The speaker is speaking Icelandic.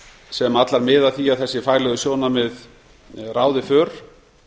sem allar miða að því að þessi faglegu sjónarmið ráði för